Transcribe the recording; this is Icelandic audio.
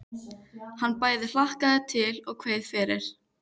Hann bæði hlakkaði til og kveið fyrir.